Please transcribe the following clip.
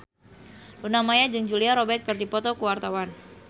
Luna Maya jeung Julia Robert keur dipoto ku wartawan